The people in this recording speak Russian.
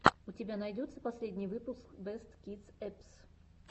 у тебя найдется последний выпуск бэст кидс эппс